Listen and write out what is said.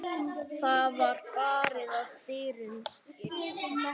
Þá var barið að dyrum.